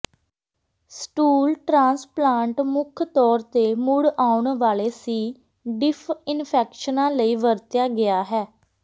stool transplant ਮੁੱਖ ਤੌਰ ਤੇ ਮੁੜ ਆਉਣ ਵਾਲੇ ਸੀ ਡਿਫ ਇਨਫੈਕਸ਼ਨਾਂ ਲਈ ਵਰਤਿਆ ਗਿਆ ਹੈ